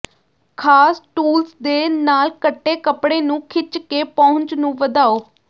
ਖਾਸ ਟੂਲਸ ਦੇ ਨਾਲ ਕੱਟੇ ਕੱਪੜੇ ਨੂੰ ਖਿੱਚ ਕੇ ਪਹੁੰਚ ਨੂੰ ਵਧਾਓ